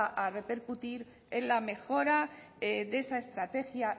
repercutir en la mejora de esa estrategia